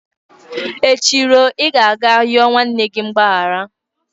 Echi ruo, ị ga-aga yọọ nwanne gị mgbaghara!